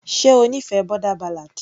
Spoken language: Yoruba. ṣe ó nífẹ̀ẹ́ boarder ballad.